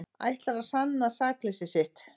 Ætlar að sanna sakleysi sitt